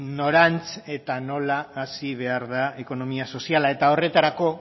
norantz eta nola hazi behar da ekonomia soziala eta horretarako